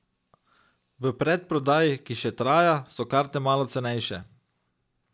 V predprodaji, ki še traja, so karte malo cenejše.